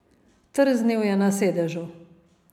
Trznil je na sedežu.